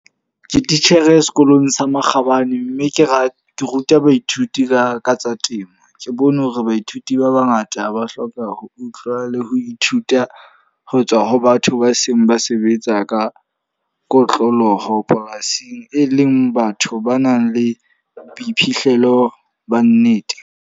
Ke titjhere sekolong sa Makgabane. Mme ke ra ke ruta baithuti ka tsa temo. Ke bone hore baithuti ba bangata ba hloka ho utlwa le ho ithuta ho tswa ho batho ba seng ba sebetsa ka kotloloho polasing. E leng batho ba nang le boiphihlelo ba nnete.